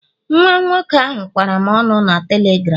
Nwa nwoke ahụ kwara m ọnụ na telegram